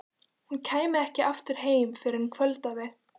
Hún kæmi ekki aftur heim fyrr en kvöldaði.